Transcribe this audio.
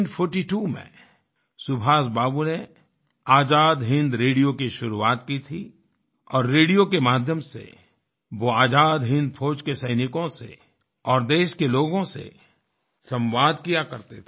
1942 में सुभाष बाबू ने आजाद हिन्द रेडियो की शुरुआत की थी और रेडियो के माध्यम से वो आजाद हिन्द फौज के सैनिकों से और देश के लोगों से सवांद किया करते थे